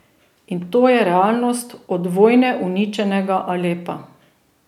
In to je realnost od vojne uničenega Alepa.